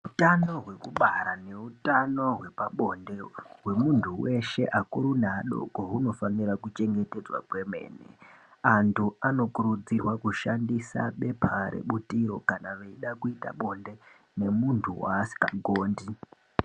Utano hwekubara neutano hwepabonde hwemuntu weshe akuru neadoko hunofanira kuchengetedzwa kwemene, anthu anokurudzirwa kushandisa bepa rebutiro kana eida kuita bonde memunthu waasikagondi.